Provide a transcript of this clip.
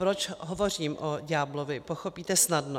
Proč hovořím o ďáblovi, pochopíte snadno.